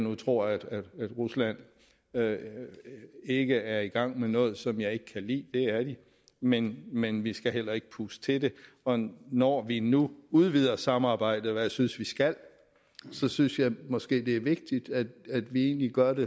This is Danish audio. jeg tror at rusland ikke er i gang med noget som jeg ikke kan lide for det er de men men vi skal heller ikke puste til det og når vi nu udvider samarbejdet hvad jeg synes vi skal så synes jeg måske det er vigtigt at vi egentlig gør det